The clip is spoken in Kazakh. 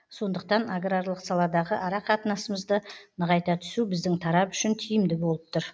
сондықтан аграрлық саладағы ара қатынасымызды нығайта түсу біздің тарап үшін тиімді болып тұр